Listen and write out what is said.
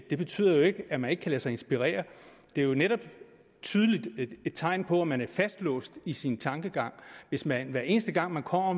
betyder jo ikke at man ikke kan lade sig inspirere det er jo netop et tydeligt tegn på at man er fastlåst i sin tankegang hvis man hver eneste gang der kommer